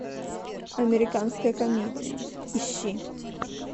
американская комедия ищи